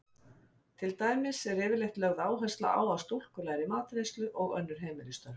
Til dæmis er yfirleitt lögð áhersla á að stúlkur læri matreiðslu og önnur heimilisstörf.